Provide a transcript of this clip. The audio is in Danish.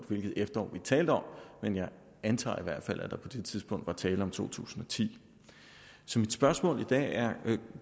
hvilket efterår han talte om men jeg antager at der på det tidspunkt var tale om to tusind og ti så mit spørgsmål i dag